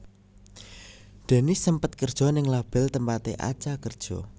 Dennis sempet kerja ning label tempaté Acha kerja